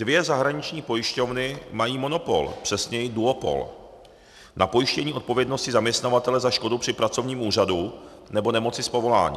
Dvě zahraniční pojišťovny mají monopol, přesněji duopol na pojištění odpovědnosti zaměstnavatele za škodu při pracovním úrazu nebo nemoci z povolání.